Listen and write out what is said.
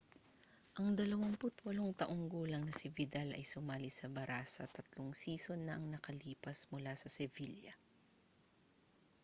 ang 28 taong gulang na si vidal ay sumali sa barã§a tatlong season na ang nakalipas mula sa sevilla